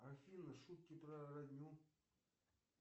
афина шутки про родню